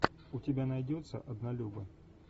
у тебя найдется однолюбы